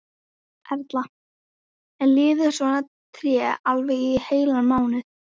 Erla: En lifir svona tré alveg í heilan mánuð?